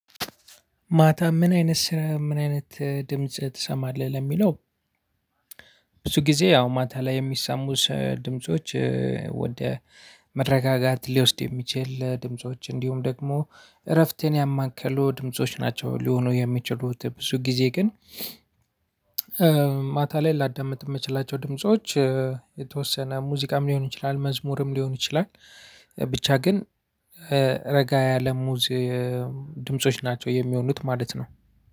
ማታ ምን አይነት ስራ ምን አይነት ድምጽ ትሰማለህ? ለሚለው ብዙ ጊዜ ያው ማታ ላይ የሚሰሙት ድምጾች ወደ መረጋጋት ሊወስድ የሚችል ድምጾች እንዲሁም ደግሞ እረፍቴን ያማከሉ ድምጾች ናቸው ሊሆኑ የሚችሉት፣ ብዙ ጊዜ ግን ማታ ላይ ላዳምጥ የምችላቸው ድምጾች የተወሰነ ሙዚቃም ሊሆን ይችላል መዝሙርም ሊሆን ይችላል ብቻ ግን ረጋ ያለ ሙዝ ድምጾች ናቸው የሚሆኑት ማለት ነው።